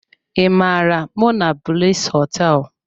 I mara monablis họteelụ?